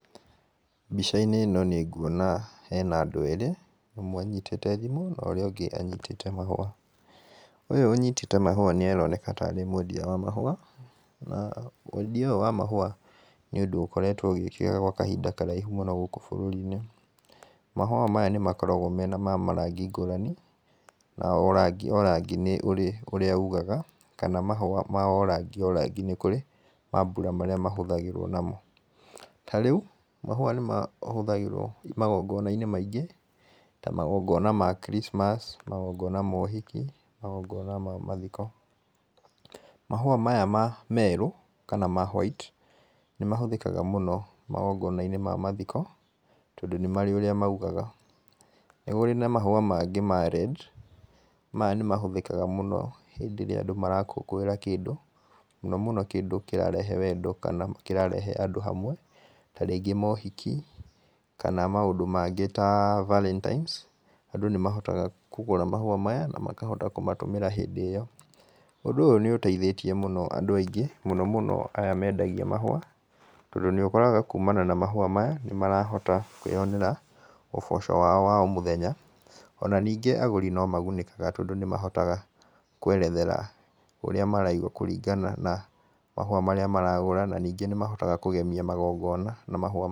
Mbica-inĩ ĩno nĩnguona hena andũ erĩ ũmwe anyĩtĩte thimũ na ũrĩa ũngĩ anyitĩte mahũa. Ũyũ ũnyitĩte mahũa nĩaroneka tarĩ mwendia wa mahũa, na wendia ũyũ wa mahũa nĩ ũndũ ũkoretwo ũgĩkĩka gwa kahinda karaihu mũno gũkũ bũrũri-inĩ. Mahũa maya nĩmakoragwo mena ma marangi ngũrani na o rangi o rangi nĩ ũrĩ ũrĩa ũgaga kana mahũa ma o rangi o rangi nĩkũrĩ mambura marĩa mahũthagĩrwo namo. Tarĩu mahũa nĩmahũthagĩrwo magongona-inĩ maingĩ ta magongona ma christmas magongona ma ũhiki magongona ma mathiko. Mahũa maya merũ kana ma white nĩmahũthĩkaga mũno magongon-inĩ ma mathiko tondũ nĩmarĩ ũrĩa maugaga. Nĩkũrĩ na mahũa mangĩ ma red maya nĩmahũthĩkaga mũno hĩndĩ ĩrĩa andũ marakũngũĩra kĩndũ mũno mũno kĩndũ kĩrarehe wendo kana kĩrarehe andũ hamwe tarĩngĩ maũhiki kana maũndũ mangĩ ta valentines andũ nĩmahotaga kũgũra mahũa maya namakahota kũmatũmĩra hindĩ ĩyo ũndũ ũyũ nĩuteithĩtĩe mũno andũ aingĩ mũno mũno aya mendagia mahũa tondũ nĩukoraga kumana na mahũa maya, nĩmarahota kũĩyonera ũboco wao wa o mũthenya, ona ningĩ agũri no magunĩkaga tondũ nĩmahotaga kwerethera ũrĩa maraigua kũringana na mahũa marĩa maragũra, na ningĩ nĩmahotaga kũgemia magongona na mahũa marĩa.